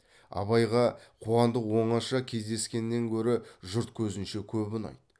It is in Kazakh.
абайға қуандық оңаша кездескеннен көрі жұрт көзінше көп ұнайды